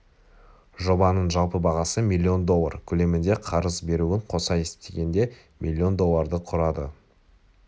жобаның жалпы бағасы миллион доллар көлемінде қарыз беруін қоса есептегенде миллион долларды құрады